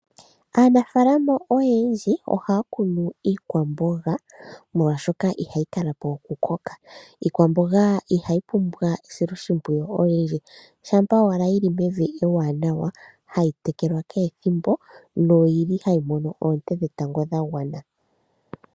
Aanafalama oyendji ohaya kunu iikwamboga, molwaashoka ihayi kala po okukoka. Iikwamboga ihayi pumbwa esiloshimpwiyu olindji, shampa owala mevi ewanawa, hayi tekelwa kehe ethimbo, noyili hayi mono oonte dhetango dhagwana.